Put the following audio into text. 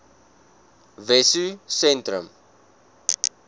wessosentrum